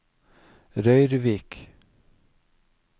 Røyrvik